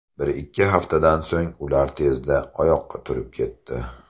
Bir-ikki haftadan so‘ng ular tezda oyoqqa turib ketdi.